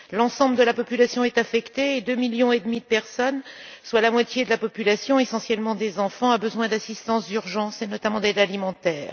L'ensemble de la population est affectée et deux millions et demi de personnes, soit la moitié de la population, essentiellement des enfants, ont besoin d'assistance d'urgence et notamment d'aide alimentaire.